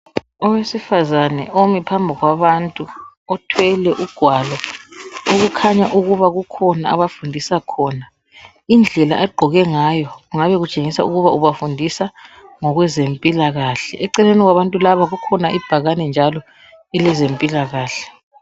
Owesifazana omi phambi kwabantu othwele ugwalo okukhanya ukuba kukhona abafundisa khona ,indlela agqoke ngayo kungaba kutsengisa ukuba ubafundisa ngokwe zempilakahle eceleni kwabantu labo kukhona ibhakane njalo elezempilakahle .